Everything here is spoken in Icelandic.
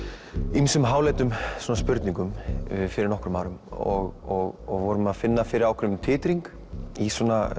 ýmsum háleitum spurningum fyrir nokkrum árum og vorum að finna fyrir ákveðnum titringi í